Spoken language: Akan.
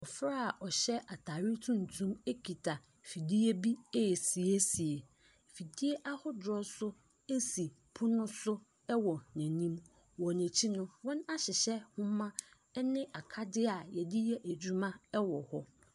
Abɔfra a ɔhyɛ atadeɛ tuntumkita fidie bi resiesie. Fidie ahodoɔ nso si pono so wɔ n'anim. Wɔ n'ayi no, wɔahyehyɛ nwoma ne akadeɛ a wɔde yɛ adwuma wɔ hɔ.